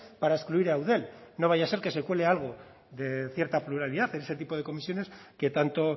para excluir a eudel no vaya a ser que se cuele algo de cierta pluralidad en ese tipo de comisiones que tanto